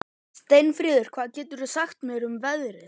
Steinfríður, hvað geturðu sagt mér um veðrið?